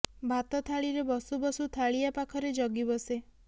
ଭାତ ଥାଳିରେ ବସୁ ବସୁ ଥାଳିଆ ପାଖରେ ଜଗି ବସେ